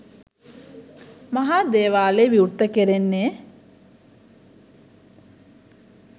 මහා දේවාලය විවෘත කෙරෙන්නේ